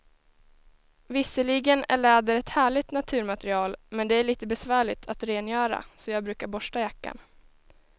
Visserligen är läder ett härligt naturmaterial, men det är lite besvärligt att rengöra, så jag brukar borsta jackan.